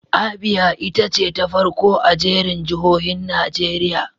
Abia ita ce ta farko a jerin jihohin Najeriya.